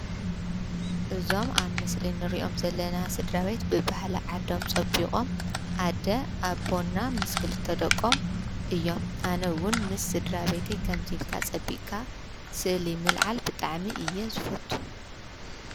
እዞም ኣብ ምስሊ ንሪኦም ዘለና ስድራቤት ብባህሊ ዓዶም ፀቢቆም ኣደ፣ ኣቦ ና ምስ ክልተ ደቆም እዮም፤ ኣነ እዉን ምስ ስድራ ቤትይ ከምዚ ኢልካ ፅቢቅካ ስእሊ ምልዓል ብጣዕሚ'የ ዝፈቱ።